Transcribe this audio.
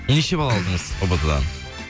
неше бал алдыңыз ұбт дан